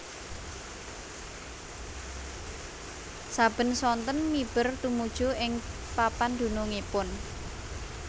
Saben sonten miber tumuju ing papan dunungipun